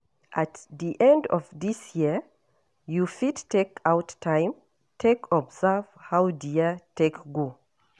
At di end of di year, you fit take out time take observe how di year take go